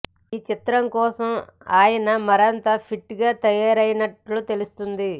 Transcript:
ఈ చిత్రం కోసం ఆయన మరింత ఫిట్గా తయారైనట్లు తెలుస్తోంది